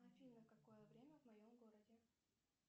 афина какое время в моем городе